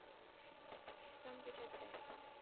computer science